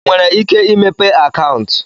ị nwere ike imepe akaụntụ?